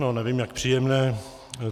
No, nevím, jak příjemné.